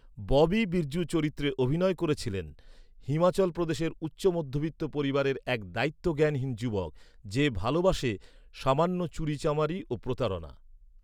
ববি বিরজূ চরিত্রে অভিনয় করেছিলেন, হিমাচল প্রদেশের উচ্চ মধ্যবিত্ত পরিবারের এক দায়িত্বজ্ঞানহীন যুবক, যে ভালবাসে সামান্য চুরিচামারি ও প্রতারণা।